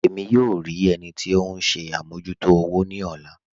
Ẹ̀mí yóò rí ẹnì tì ọ̀hun ṣè àmọ̀jútò òwò ni ọ̀lá